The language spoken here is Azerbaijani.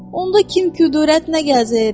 Onda kim küdurət nə gəzir?